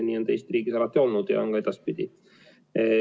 Nii on see Eesti riigis alati olnud ja on ka edaspidi.